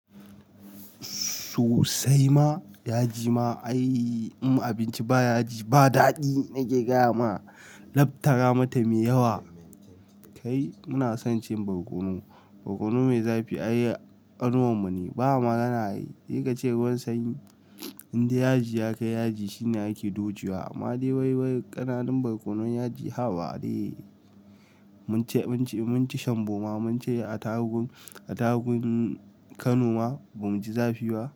Sosai ma, yaji ma ai im abinci ba yaji ba daɗi nake gaya ma, lab tara mata mai yawa. Kai muna son cin barkono, barkono mai zafi ai ƙanuwan mu ne ba ma gana ai. Se kace ruwan sanyi, indai yaji ya kai yaji shine ake dojewa. Amma dai wai wai ƙananun barkonon yaji haba dai. Mun ci, mun ci, mun ci shanboma mun ci a tarugu, a tarugun Kano ma ba mu ji zafi ba.